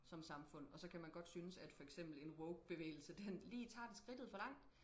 som samfund og så kan man godt synes at for eksempel en woke bevægelse den lige tager skridtet for langt